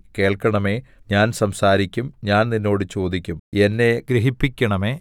കേൾക്കണമേ ഞാൻ സംസാരിക്കും ഞാൻ നിന്നോട് ചോദിക്കും എന്നെ ഗ്രഹിപ്പിക്കണമേ